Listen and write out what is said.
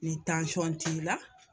Ni tansiyɔn t'i la.